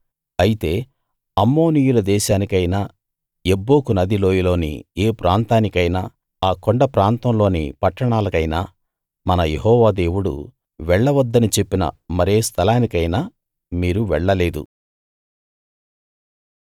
అయితే అమ్మోనీయుల దేశానికైనా యబ్బోకు నది లోయలోని ఏ ప్రాంతానికైనా ఆ కొండప్రాంతంలోని పట్టణాలకైనా మన యెహోవా దేవుడు వెళ్ళవద్దని చెప్పిన మరే స్థలానికైనా మీరు వెళ్ళలేదు